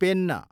pen